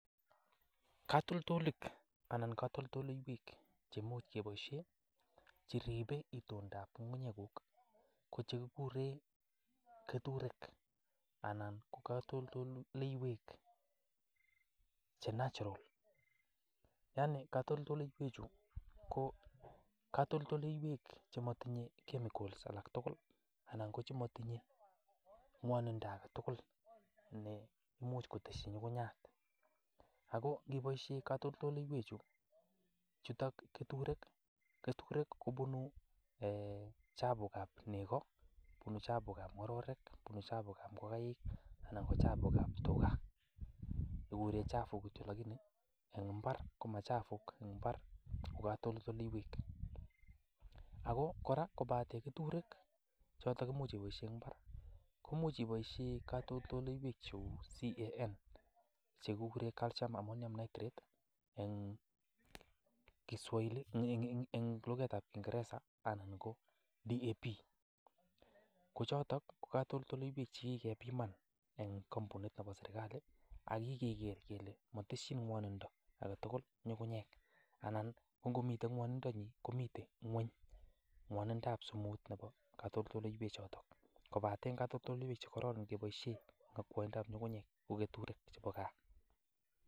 Katoltolik anan katoltoleiywek che imuch keboisien cheribe itondab ng'ung'nyeguk ko chekiguren keturek anan ko katoltoleiywek che natural yaani katoltoleiywechu ko katoltoleiywek chematinye chemicals alak tugul anan chematinye ng'wanindo age tugul ne imuch kotesyi ng'ung'unyat. Ago ingeboishen katoltoleiywechuto keturek kobunu chafuk ab nego, bunu chafuk ab ng'ororek, bunu chafuk ab ngokaik anan ko chafuk ab tuga. Keguren chafuk kityo lakini en mbar komachafuk, en mbar ko katoltoleiwek. Ago kora kobate katoltoleiywek che kiboisie en mbar koimuch keboisie che kigure CAN, chekigure Calcium Ammonium Nitrate en laugaitab kiingereza anan ko DAP ko choto ko katoltoleiywek che kigebiman en kompunit nebo serkalit ak kigeker kele motesyin ng'wonindo age tugul ng'ung'uyek anan ko ngomito ng'wonindonyin komite ng'wony ng'wonindab sumu nebo katoltoliwek choto. Kobate katoltoleiywek che kororon keboisie akwaindab ng'ung'nyek ko keturek chebo gaa.